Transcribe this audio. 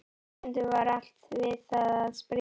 Stundum var allt við það að springa.